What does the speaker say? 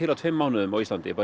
á tveimur mánuðum á Íslandi